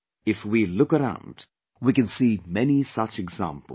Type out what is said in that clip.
If we look around, we can see many such examples